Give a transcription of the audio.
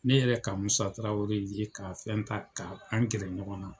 Ne yɛrɛ ye ka Musa Tarawele ye ka fɛn ka an gɛrɛ ɲɔgɔn na.